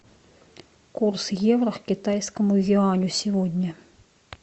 курс евро к китайскому юаню сегодня